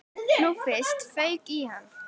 Nú fyrst fauk í hann.